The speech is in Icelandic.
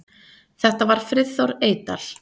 Þetta var Friðþór Eydal.